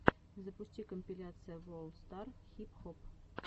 запусти компиляция ворлд стар хип хоп